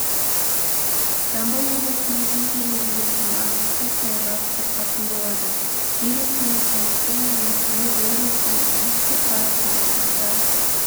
жамбыл облысының кей жерлерінде тұман көктайғақ бұрқасын болады жел екпіні таңертең және күндіз облыстың оңтүстік-батысында аса